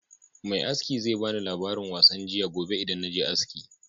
Me aski zan bani labarin wasan jiya gobe idan naje aski